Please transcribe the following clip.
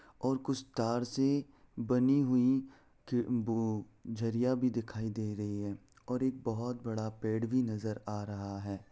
और कुछ तार से बनी हुई खिड़ बो झरिया भी दिखाई दे रही है और एक बहोत बड़ा पेड़ भी नजर आ रहा है।